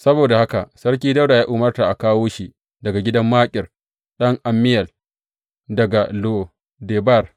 Saboda haka Sarki Dawuda ya umarta aka kawo shi daga gidan Makir ɗan Ammiyel, daga Lo Debar.